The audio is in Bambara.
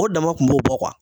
O dama kun b'o bɔ